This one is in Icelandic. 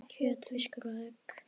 kjöt, fiskur og egg